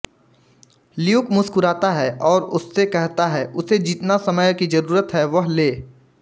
Luke मुस्कुराता है और उससे कहता है उसे जितने समय की जरूरत है वह ले